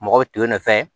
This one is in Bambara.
Mɔgɔ to yen nɔ fɛn ye